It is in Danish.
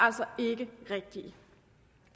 altså ikke rigtige